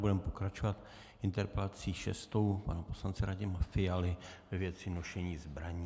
Budeme pokračovat interpelací šestou pana poslance Radima Fialy ve věci nošení zbraní.